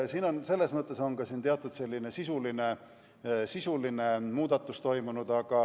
Siin on selles mõttes toimunud ka teatud sisuline muudatus.